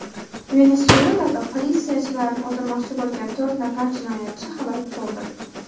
Venesuelada politsiyachilarni o‘ldirmoqchi bo‘lgan to‘rt nafar jinoyatchi halok bo‘ldi.